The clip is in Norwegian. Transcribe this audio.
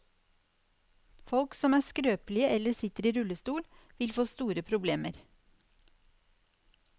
Folk som er skrøpelige eller sitter i rullestol, vil få store problemer.